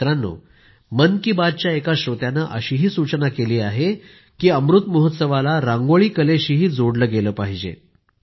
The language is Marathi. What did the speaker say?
मित्रांनो मन की बातच्या एका श्रोत्यानं अशीही सूचना केली आहे की अमृत महोत्सवाला रांगोळी कलेशीही जोडलं गेलं पाहिजे